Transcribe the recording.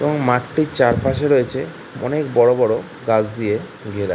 এবং মাঠটির চারপাশে রয়েছেঅনেক বড়ো বড়ো গাছ দিয়ে ঘেরা।